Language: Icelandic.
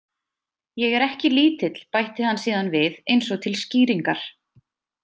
Ég er ekki lítill, bætti hann síðan við, eins og til skýringar.